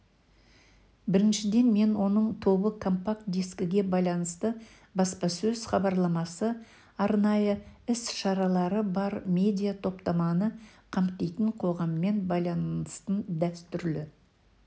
біріншіден мен оның тобы компакт дискіге байланысты баспасөз-хабарламасы арнайы іс-шаралары бар медиа топтаманы қамтитын қоғаммен байланыстың дәстүрлі